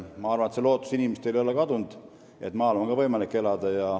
Ma arvan, et inimestel ei ole kadunud lootus, et ka maal on võimalik elada.